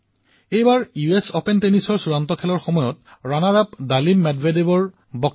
চাওক এইবাৰ U S অপেনত জয়ৰ যিমান চৰ্চা কৰা হৈছিল সিমানেই ৰাণাৰ আপ ডেনিল মেডভেডেভৰ বক্তব্যক লৈও চৰ্চা হৈছিল